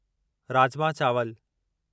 राजमा चावल